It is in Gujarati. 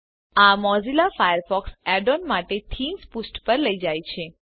આ મોઝિલ્લા ફાયરફોક્સ add ઓએનએસ માટે થીમ્સ પુષ્ઠ પર લઇ જાય છે